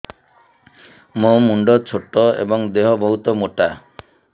ମୋ ମୁଣ୍ଡ ଛୋଟ ଏଵଂ ଦେହ ବହୁତ ମୋଟା